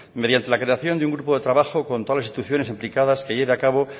mediante la creación de un grupo de trabajo con todas las instituciones implicadas que lleve a cabo